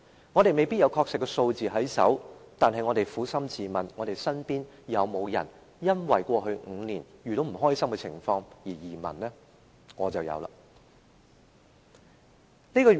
我們手邊未必有確實數字，但我們撫心自問，身邊有沒有人因為在過去5年遇到不開心的情況而移民呢？